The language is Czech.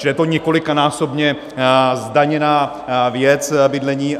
Čili je to několikanásobně zdaněná věc - bydlení.